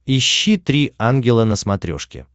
ищи три ангела на смотрешке